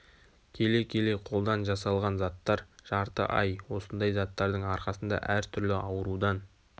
келе-келе қолдан жасалған заттар жарты ай осындай заттардың арқасында әр түрлі аурудан